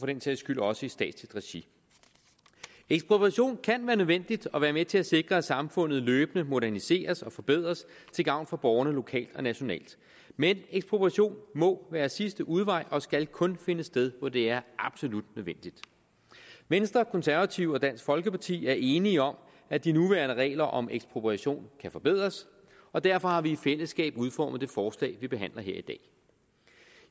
den sags skyld også statsligt regi ekspropriation kan være nødvendigt og være med til at sikre at samfundet løbende moderniseres og forbedres til gavn for borgerne lokalt og nationalt men ekspropriation må være sidste udvej og skal kun finde sted hvor det er absolut nødvendigt venstre konservative og dansk folkeparti er enige om at de nuværende regler om ekspropriation kan forbedres og derfor har vi i fællesskab udformet det forslag vi behandler her i dag